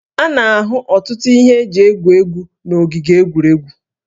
A na-ahụ ọtụtụ ihe eji egwu egwu n'ogige egwuregwu